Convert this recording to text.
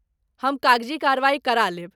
हम कागजी कार्रवाई कराय लेब।